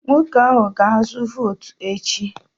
Nwoke ahụ ga-azụ votu echi